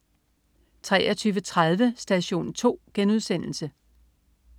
23.30 Station 2*